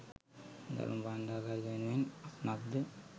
ධර්ම භාණ්ඩාගාරික වෙනුවෙන් අසුනක් ද